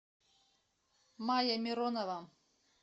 майя миронова